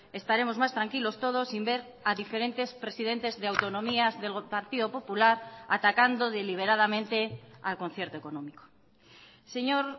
estaremos más tranquilos todos sin ver a diferentes presidentes de autonomías del partido popular atacando deliberadamente al concierto económico señor